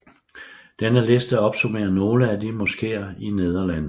Denne liste opsummerer nogle af de moskeer i Nederlandene